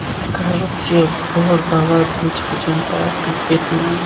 Korrupsiya bor davlat hech qachon taraqqiy etmaydi.